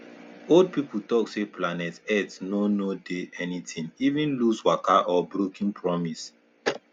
old people talk say planet earth no no dey anytin even loose waka or brokim promis